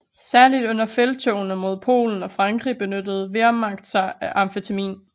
Særlig under felttogene mod Polen og Frankrig benyttede Wehrmacht sig af amfetamin